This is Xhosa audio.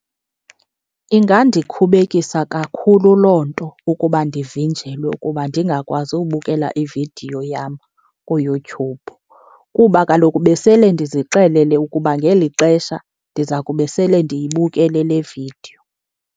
Ingandikhubekisa kakhulu loo nto ukuba ndivinjelwe ukuba ndingakwazi ubukela ividiyo yam kuYouTube kuba kaloku besele ndizixelele ukuba ngeli xesha ndiza kube sele ndiyibukele le vidiyo.